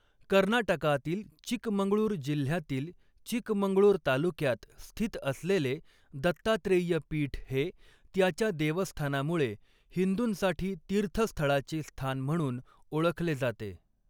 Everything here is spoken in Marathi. कर्नाटकातील चिकमंगळूर जिल्ह्यातील चिकमंगळूर तालुक्यात स्थित असलेले दत्तात्रेय पीठ हे त्याच्या देवस्थानामुळे हिंदूंसाठी तीर्थस्थळाचे स्थान म्हणून ओळखले जाते.